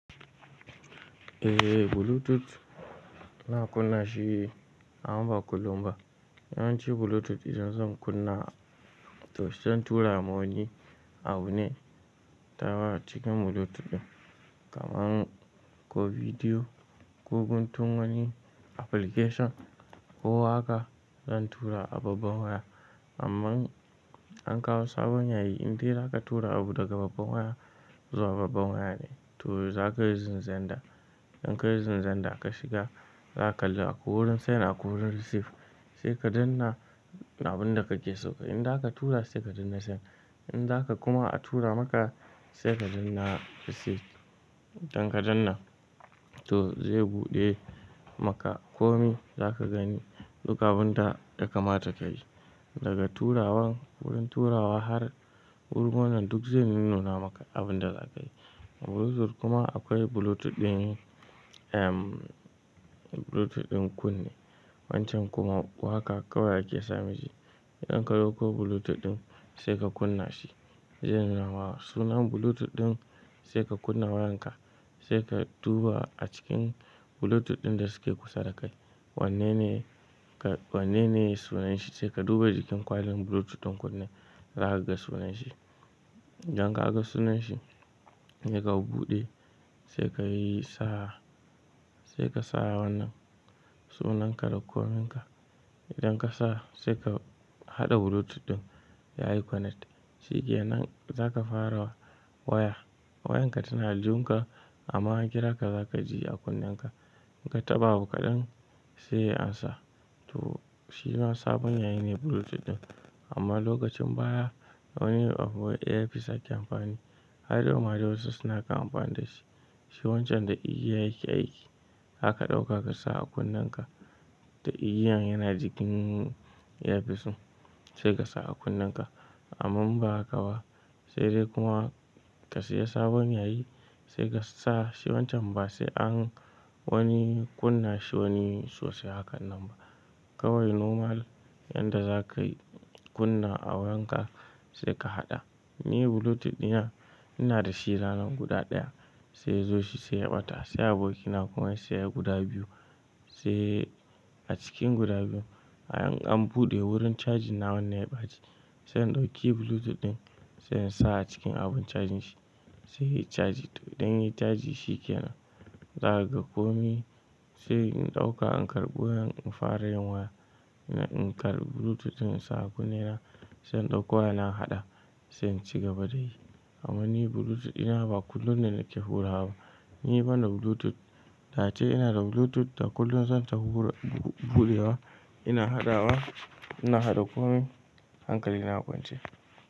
Eh Bluetooth ina kunna shi amma ba kullum ba. Yawanci Bluetooth idan zan kunna to zan tura ma wani abu ne ta cikin Bluetooth ɗin. Kaman ko bidiyo ko guntun wani application ko waka zan tura a babban waya amman an kawo sabon yayi in dai za ka tura abu daga babban waya zuwa babban waya ne, to za ka yi using xender In ka yi using xender ka shiga za ka kalli akwai wurin send akwai wurinn receive. Sai ka danna abin da kake so. In za ka tura sai ka danna send. In za ka kuma a tura maka sai ka danna receive. Idan ka danna to zai buɗe maka komi za ka gani duk abunda yakamata ka yi. Daga turawan wurin turawa har wurin wannan duk zai nuna maka abin da za ka yi. A Bluetooth kuma akwai Bluetooth ɗin, ehm, Bluetooth ɗin kunne. Wancan kuma waka kawai ake sa mishi. Idan ka dauko Bluetooth ɗin sai ka kunna shi zai nuna wa sunan Bluetooth ɗin sai ka kunna wayanka sai ka duba a cikin Bluetooth ɗin da suke kusa da kai. Wanne ne, wanne ne sunanshi sai ka duba jikin ƙwalen Bluetooth ɗin kunne za ka ga sunanshi. Idan ka ga sunanshi idan ka buɗe sai ka yi sa, sai ka sa wannan sunan ka da kominka. Idan ka sa sai ka haɗa Bluetooth ɗin ya yi connect. Shi ke nan za ka fara waya. Wayanka tana aljihun ka amma ankira ka za ka ji a kunnenka. In ka taɓa abu kaɗan sai ya amsa. To shi ma sabon yayi ne Bluetooth ɗin. Amma lokacin baya wani abu wai earpiece ake amfani. Har yauma yawanci wasu suna kamfanin da shi. Shi wancan da igiya yake aiki. Zaka ɗauka ka sa a kunnenka. Da igiyan yana jikin yafison sai ka sa a kunnenka. Amma ba haka ba. Sai dai kuma ka siya sabon yayi sai ka sa shi wancan ba sai an wani kunna shi wani sosai hakan nan ba. Kawai normal yanda za ka yi kunna a wankan sai ka haɗa. Ni Bluetooth ɗina ina da shi ranan guda ɗaya sai ya zo shi sai ya ɓata. Sai abokina kuma ya saya guda biyu. Sai a cikin guda biyun an buɗe wurin charging na wannan ya ɓaci. Sai in ɗauki Bluetooth ɗin sai in sa a cikin abun charging shi. Sai ya yi charging to idan ya yi charging shi ke nan. Zaa ka ga komi sai in ɗauka in karɓo farayin waya in karɓi Bluetooth ɗin in sa a kunne na sai in ɗauko wayana in haɗa sai in shiga ba da yi. Amma ni Bluetooth ina ba kullum ne nake hura ba. Ni bani da Bluetooth. Da ace ina da Bluetooth da kullum zan ta hura, buɗewa ina haɗawa ina haɗa komai hankali na a kwance.